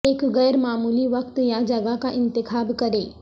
ایک غیر معمولی وقت یا جگہ کا انتخاب کریں